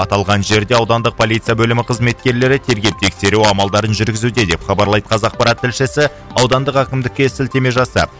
аталған жерде аудандық полиция бөлімі қызметкерлері тергеу тексеру амалдарын жүргізуде деп хабарлайды қазақпарат тілшісі аудандық әкімдікке сілтеме жасап